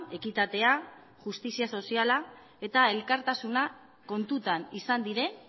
ekitatea justizia soziala eta elkartasuna kontutan izan diren